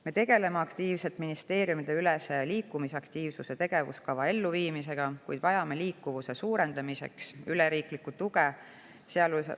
Me tegeleme aktiivselt ministeeriumideülese liikumisaktiivsuse tegevuskava elluviimisega, kuid vajame liikuvuse suurendamiseks riiklikku tuge.